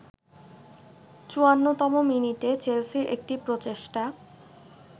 ৫৪তম মিনিটে চেলসির একটি প্রচেষ্টা